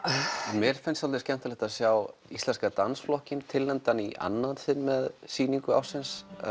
mér finnst svolítið skemmtilegt að sjá Íslenska dansflokkinn tilnefndan í annað sinn með sýningu ársins